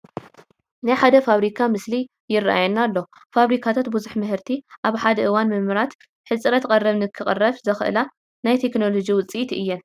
ናይ ሓደ ፋብሪካ ምስሊ ይርአየና ኣሎ፡፡ ፋብሪካታት ብዙሕ ምህርቲ ኣብ ሓደ እዋን ብምምራት ህፅረት ቀረብ ንክቕረፍ ዘኽእላ ናይ ቴክኖሎጂ ውፅኢት እየን፡፡